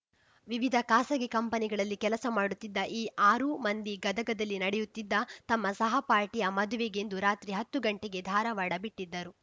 ವಿವಿಧ ಖಾಸಗಿ ಕಂಪನಿಗಳಲ್ಲಿ ಕೆಲಸ ಮಾಡುತ್ತಿದ್ದ ಈ ಆರೂ ಮಂದಿ ಗದಗದಲ್ಲಿ ನಡೆಯುತ್ತಿದ್ದ ತಮ್ಮ ಸಹಪಾಠಿಯ ಮದುವೆಗೆಂದು ರಾತ್ರಿ ಹತ್ತು ಗಂಟೆಗೆ ಧಾರವಾಡ ಬಿಟ್ಟಿದ್ದರು